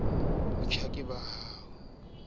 kostsi le ke ke la